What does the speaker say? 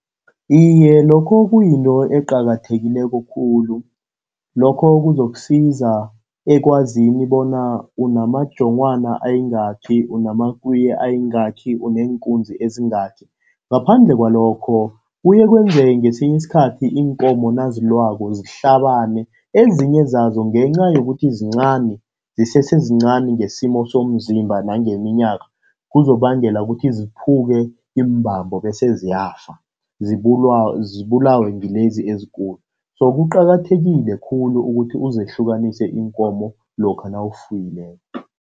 Iye, lokho kuyinto eqakathekileko khulu. Lokho kuzokusiza ekwazini bona unamajonghwana ayingakhi, unamakwiye ayingakhi, uneenkunzi ezingakhi. Ngaphandle kwalokho kuye kwenzeke ngesinye isikhathi iinkomo nazilwako zihlabane, ezinye zazo ngenca yokuthi zincani zisese zincani ngesimo somzimba nangeminyaka, kuzokubangela ukuthi ziphuke iimbambo bese ziyafa, zibulawe ngilezi ezikulu. So kuqakathekile khulu ukuthi uzehlukanise iinkomo lokha nawufuyileko.